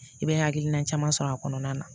I bɛ hakilina caman sɔrɔ a kɔnɔna na